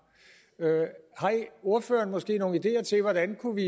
ordføreren måske nogen ideer til hvordan vi kunne